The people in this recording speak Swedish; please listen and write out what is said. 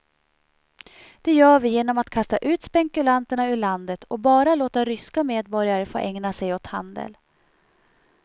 Det gör vi genom att kasta ut spekulanterna ur landet och bara låta ryska medborgare få ägna sig åt handel.